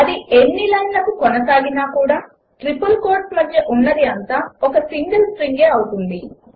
అది ఎన్ని లైన్లకు కొనసాగినా కూడా ట్రిపుల్ కోట్స్ మధ్య ఉన్నది అంతా ఒక సింగిల్ స్ట్రింగ్ అవుతుంది